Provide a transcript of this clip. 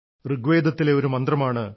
ഋഗ്വേതത്തിലെ ഒരു മന്ത്രമാണ്